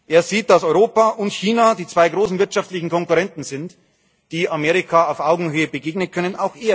Er sieht, dass Europa und China die zwei großen wirtschaftlichen Konkurrenten sind, die Amerika auf Augenhöhe begegnen können.